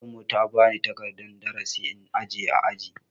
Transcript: Malamin mu ta bani takardan darasi in ajiye ã aji.